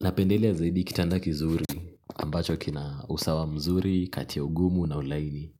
Napendelea zaidi kitanda kizuri ambacho kina usawa mzuri, kati ya ugumu na ulaini.